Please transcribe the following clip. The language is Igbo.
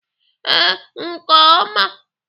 Ee, nke oma.